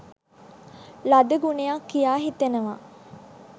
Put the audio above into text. ලද ගුණයක් කියා හිතනවා.